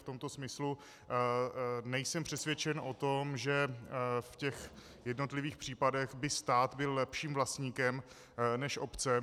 V tomto smyslu nejsem přesvědčen o tom, že v těch jednotlivých případech by stát byl lepším vlastníkem než obce.